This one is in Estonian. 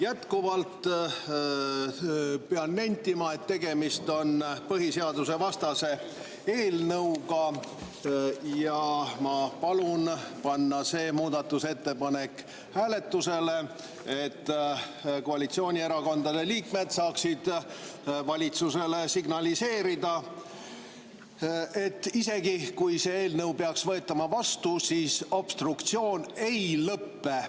Jätkuvalt pean nentima, et tegemist on põhiseadusevastase eelnõuga ja ma palun panna see muudatusettepanek hääletusele, et koalitsioonierakondade liikmed saaksid valitsusele signaliseerida, et isegi kui see eelnõu peaks vastu võetama, siis obstruktsioon ei lõpe.